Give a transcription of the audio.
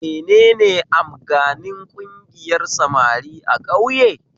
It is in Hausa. Menene amganin ƙungiyar samari a ƙauye?